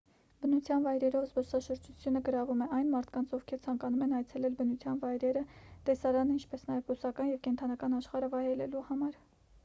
բնության վայրերով զբոսաշրջությունը գրավում է այն մարդկանց ովքեր ցանկանում են այցելել բնության վայրերը տեսարանը ինչպես նաև բուսական և կենդանական աշխարհը վայելելու համար